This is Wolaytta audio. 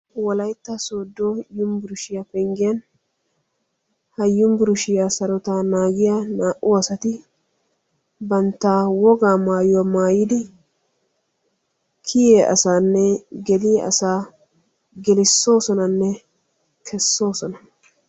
wolayitta sodo yumburushiya penggiyan ha yumburushiya sarotaa naagiya naa"u asati bantta wogaa mayuwa mayidi kiyiya asaanne geliya asaa gelissoosonanne kessoosona.